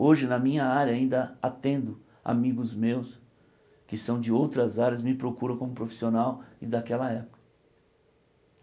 Hoje na minha área ainda atendo amigos meus que são de outras áreas, me procuram como profissional e daquela época.